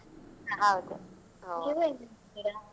ಹೌದು. ನೀವ್ ಏನ್ ಮಾಡ್ತಿದ್ದೀರಾ?